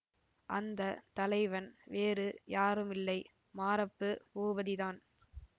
அந்த தலைவன் வேறு யாருமில்லை மாரப்பு பூபதிதான்